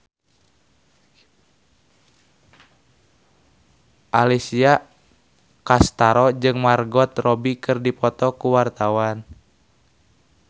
Alessia Cestaro jeung Margot Robbie keur dipoto ku wartawan